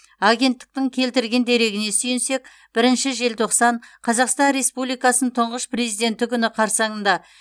агенттіктің келтірген дерегіне сүйенсек бірінші желтоқсан қазақстан республикасының тұңғыш президенті күні қарсаңында